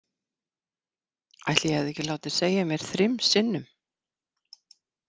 Ætli ég hefði ekki látið segja mér þrim sinnum.